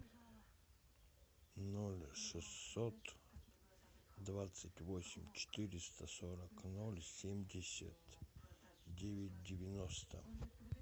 ноль шестьсот двадцать восемь четыреста сорок ноль семьдесят девять девяносто